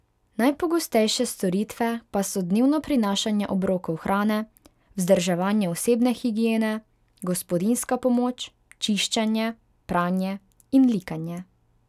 Najpogostejše storitve pa so dnevno prinašanje obrokov hrane, vzdrževanje osebne higiene, gospodinjska pomoč, čiščenje, pranje in likanje.